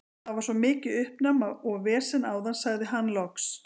Það var svo mikið uppnám og vesen áðan, sagði hann loks.